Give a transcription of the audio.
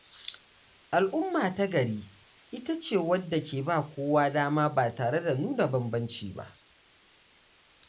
Al’umma ta gari ita ce wadda ke ba kowa dama ba tare da nuna bambanci ba.